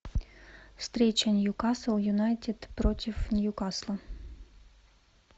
встреча ньюкасл юнайтед против ньюкасла